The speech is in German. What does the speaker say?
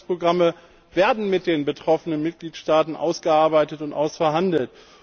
Die Anpassungsprogramme werden mit den betroffenen Mitgliedstaaten ausgearbeitet und ausverhandelt.